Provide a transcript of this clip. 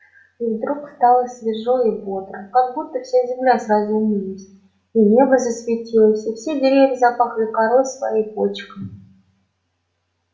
и вдруг стало свежо и бодро как будто вся земля сразу умылась и небо засветилось и все деревья запахли корой своей и почками